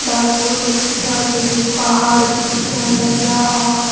डाला बुडतु पिछाडी भिटिन पहाड़ भी दिख्याण लग्य्ना और --